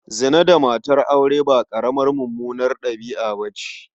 Zina da matan aure ba ƙaramar mummunar ɗabi'a ba ce.